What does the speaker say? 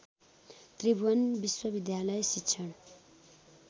त्रिभुवन विश्वविद्यालय शिक्षण